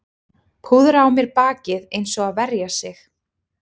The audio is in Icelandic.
Púðra á mér bakið eins og að verja sig